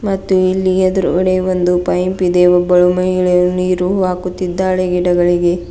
ಮತ್ತು ಇಲ್ಲಿ ಎದ್ರುಗಡೆ ಒಂದು ಪೈಪ್ ಇದೆ ಒಬ್ಬಳು ಮಹಿಳೆಯಳು ನೀರು ಹಾಕುತ್ತಿದ್ದಾಳೆ ಗಿಡಗಳಿಗೆ.